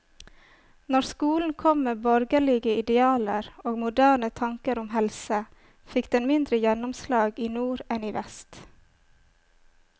Når skolen kom med borgerlige idealer og moderne tanker om helse, fikk den mindre gjennomslag i nord enn i vest.